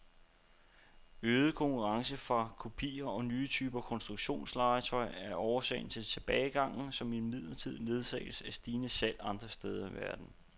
Øget konkurrence fra kopier og nye typer konstruktionslegetøj er årsag til tilbagegangen, som imidlertid ledsages af stigende salg andre steder i verden.